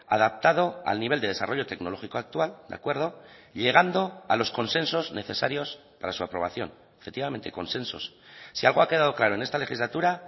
adaptado al nivel de desarrollo tecnológico actual de acuerdo y llegando a los consensos necesarios para su aprobación efectivamente consensos si algo ha quedado claro en esta legislatura